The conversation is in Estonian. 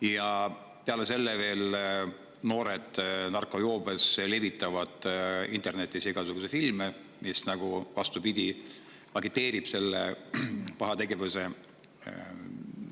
Ja peale selle narkojoobes noored levitavad internetis igasuguseid filme, mis vastupidi, nagu agiteerivad seda paha tegevust.